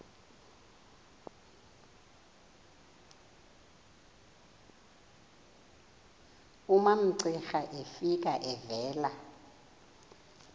umamcira efika evela